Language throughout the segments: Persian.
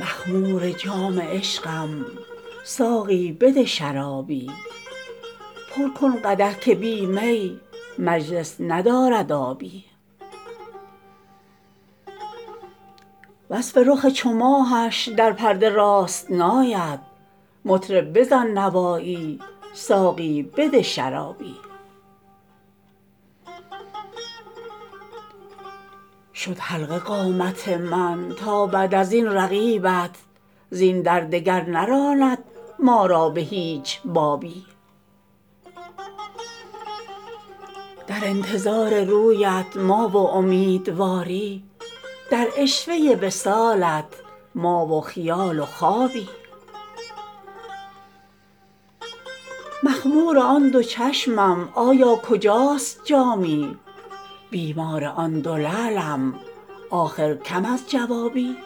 مخمور جام عشقم ساقی بده شرابی پر کن قدح که بی می مجلس ندارد آبی وصف رخ چو ماهش در پرده راست نآید مطرب بزن نوایی ساقی بده شرابی شد حلقه قامت من تا بعد از این رقیبت زین در دگر نراند ما را به هیچ بابی در انتظار رویت ما و امیدواری در عشوه وصالت ما و خیال و خوابی مخمور آن دو چشمم آیا کجاست جامی بیمار آن دو لعلم آخر کم از جوابی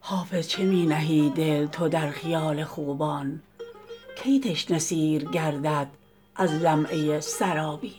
حافظ چه می نهی دل تو در خیال خوبان کی تشنه سیر گردد از لمعه سرابی